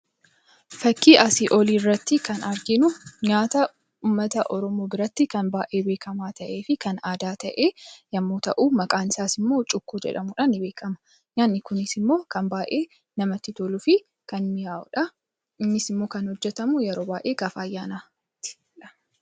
Fakkii asii oliirratti kan arginu nyaata uummata Oromoo biratti kan baay'ee beekamaa ta'ee fi kan aadaa ta'e yommuu ta'u, maqaansaas immoo Cuukkoo jedhamuudhaan ni beekama. Nyaatni kunis immoo kan baay'ee namatti toluu fi kan miny'aawudha. Innis immoo kan hojjetamu yeroo baay'ee gaafa ayyaanaati.